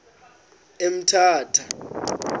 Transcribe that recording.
emthatha